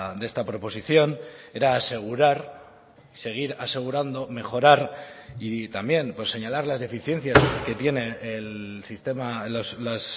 de esta proposición era asegurar seguir asegurando mejorar y también señalar las deficiencias que tiene el sistema las